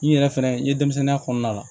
N yɛrɛ fɛnɛ n ye denmisɛnninya kɔnɔna la